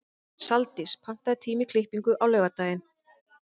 Saldís, pantaðu tíma í klippingu á laugardaginn.